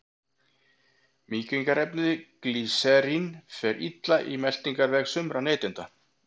Mýkingarefnið glýserín fer illa í meltingarveg sumra neytenda.